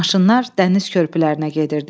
Maşınlar dəniz körpülərinə gedirdi.